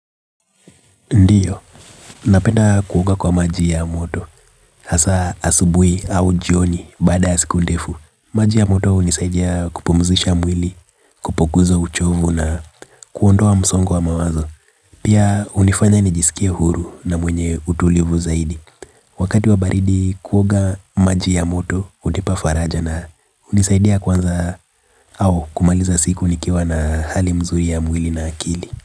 Ndiyo, napenda kuoga kwa maji ya moto, hasa asubuhi au jioni baada ya siku ndefu. Maji ya moto hunisaidia kupumzisha mwili kupunguza uchovu na kuondoa msongo wa mawazo. Pia hunifanya nijisikie huru na mwenye utulivu zaidi. Wakati wa baridi kuoga maji ya moto, hunipa faraja na hunisaidia kuanza au kumaliza siku nikiwa na hali mzuri ya mwili na akili.